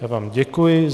Já vám děkuji.